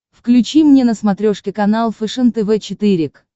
включи мне на смотрешке канал фэшен тв четыре к